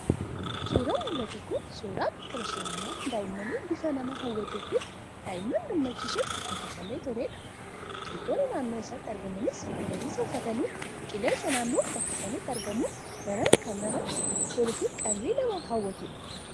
Suuraan mul'atu kun suuraa bakka bashannanaa daa'immanii bifa nama hawwatuu fi daa'imman gammachiisuun hojjetamee toledha. Biqiltoonni naannoo isaatti argamaniis magariisa uffatanii, qilleensi naannoo bakka sanaatti argamu daran kan namatti toluu fi qalbii namaa hawwatudha.